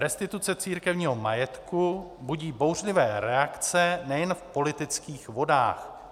Restituce církevního majetku budí bouřlivé reakce nejen v politických vodách.